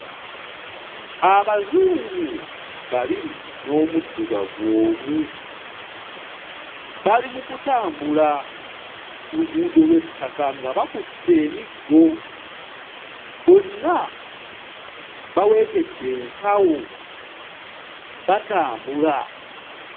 Abazungu babiri n'omuddugavu omu. Bali mu kutambula ku luguudo lw'ettaka nga bakutte emiggo. Bonna baweekedde ensawo batambula.